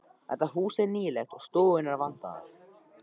Það hús er nýlegt og stofurnar vandaðar.